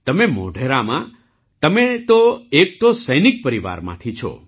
તમે મોઢેરામાં તમે તો એક તો સૈનિક પરિવારમાંથી છો